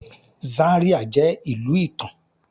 Zaria jẹ ilu itan